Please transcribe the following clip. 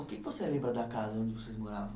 O que que você lembra da casa onde vocês moravam?